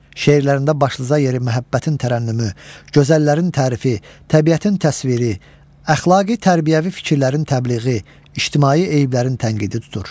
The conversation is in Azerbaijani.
Şeirlərində başlıca yeri məhəbbətin tərənnümü, gözəllərin tərifi, təbiətin təsviri, əxlaqi tərbiyəvi fikirlərin təbliği, ictimai eyblərin tənqidi tutur.